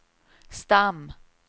stam